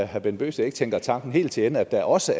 herre bent bøgsted ikke tænker tanken helt til ende at der også